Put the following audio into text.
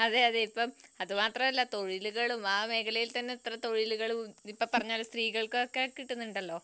അതെയതെ ഇപ്പൊ അതുമാത്രമല്ല തൊഴിലുകളും ആ മേഖലയിൽ തന്നെ എത്ര തൊഴിലുകളും ഇപ്പ പറഞ്ഞപോലെ സ്ത്രീകൾക്കും കിട്ടുന്നുണ്ടല്ലോ